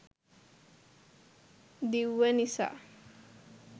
දිව්ව නිසා